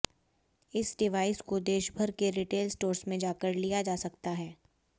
इस डिवाइस को देशभर के रिटेल स्टोर्स से जाकर लिया जा सकता है